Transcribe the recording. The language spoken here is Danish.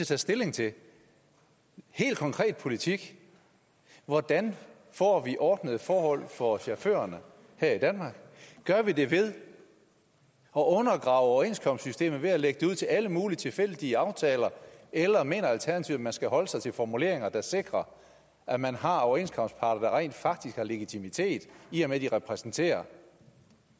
tage stilling til helt konkret politik hvordan får vi ordnede forhold for chaufførerne her i danmark gør vi det ved at undergrave overenskomstsystemet ved at lægge det ud til alle mulige tilfældige aftaler eller mener alternativet at man skal holde sig til formuleringer der sikrer at man har overenskomstparter der rent faktisk har en legitimitet i og med at de repræsenterer